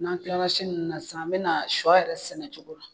N'an kila la siɛn ni nunnu na sisan an bɛna na shɔ yɛrɛ sɛnɛ cogo di.